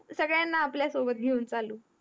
सगळ्या ला आपल्या सोबत घेउन चालू